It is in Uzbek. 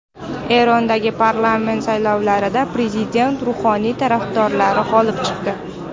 Erondagi parlament saylovlarida prezident Ruhoniy tarafdorlari g‘olib chiqdi.